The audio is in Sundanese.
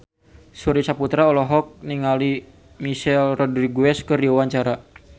Surya Saputra olohok ningali Michelle Rodriguez keur diwawancara